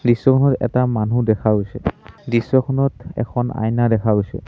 দৃশ্যখনত এটা মানুহ দেখা গৈছে দৃশ্যখনত এখন আইনা দেখা গৈছে।